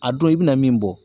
A don, i bɛna min bɔ.